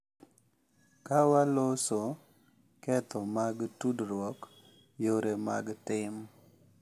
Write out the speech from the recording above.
Ka waloso ketho mag tudruok, yore mag tim,